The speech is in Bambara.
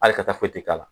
Ali kata foyi te k'ala